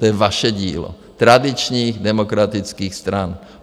To je vaše dílo tradičních demokratických stran.